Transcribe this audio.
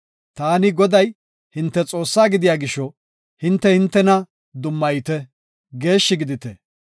“Taani, Goday, hinte Xoossaa gidiya gisho, hinte hintena dummayite; geeshshi gidite.